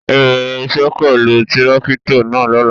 Ẹ bẹrẹ iṣẹ pẹlú tirakito náa lọla!